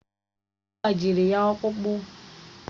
Ọ gbajiri ọkpụkpụ?